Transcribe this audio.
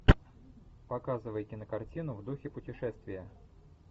показывай кинокартину в духе путешествия